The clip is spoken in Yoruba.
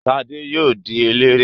Ṣadé yóò di eléré.